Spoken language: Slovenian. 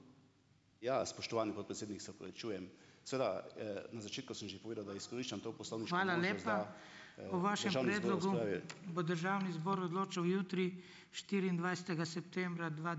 Ja, spoštovani podpredsednik, se opravičujem. Seveda, Na začetku sem že povedal, da izkoriščam to poslovniško možnost, da ...